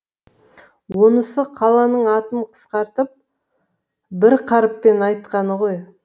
онысы қаланың атын қысқартып бір қарыппен айтқаны ғой